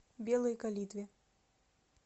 белой калитве